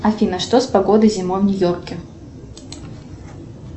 афина что с погодой зимой в нью йорке